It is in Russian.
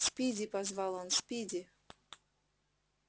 спиди позвал он спиди